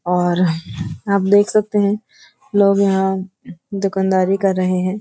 और आप देख सकते हैं लोग यहाँ दुकानदारी कर रहे हैं।